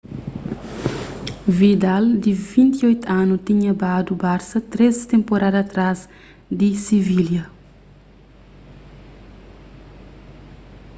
vidal di 28 anu tinha badu barsa três tenporada atrás di sivilha